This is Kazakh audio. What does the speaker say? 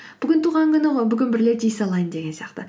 бүгін туған күні ғой бүгін бір рет жей салайын деген сияқты